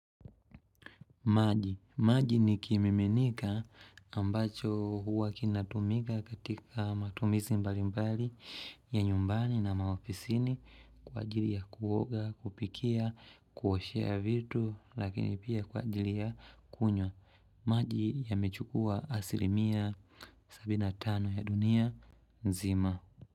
Maji. Maji ni kimiminika ambacho huwa kinatumika katika matumizi mbalimbali ya nyumbani na maofisini kwa ajili ya kuoga, kupikia, kuoshea vitu lakini pia kwa ajili ya kunywa. Maji yamechukua asilimia sabini na tano ya dunia nzima.